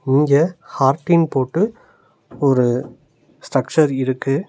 இங்க ஹார்டின் போட்டு ஒரு ஸ்ட்ரக்சர் இருக்கு.